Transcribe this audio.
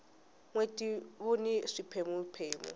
nweti wuni swipheme phemu